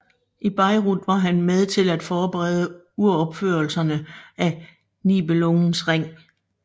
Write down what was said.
I Bayreuth var han med til at forberede uropførelserne af Nibelungens Ring